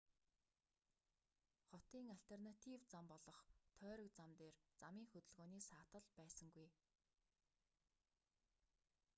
хотын альтернатив зам болох тойрог зам дээр замын хөдөлгөөний саатал байсангүй